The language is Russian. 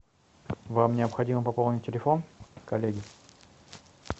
вам необходимо пополнить телефон коллеги